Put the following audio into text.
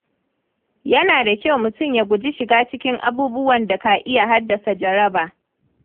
Yana da kyau mutum ya guji shiga cikin abubuwan da ka iya haddasa jaraba.